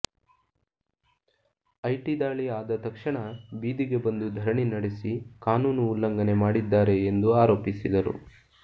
IT ದಾಳಿ ಆದ ತಕ್ಷಣ ಬೀದಿಗೆ ಬಂದು ಧರಣಿ ನಡೆಸಿ ಕಾನೂನು ಉಲ್ಲಂಘನೆ ಮಾಡಿದ್ದಾರೆ ಎಂದು ಆರೋಪಿಸಿದರು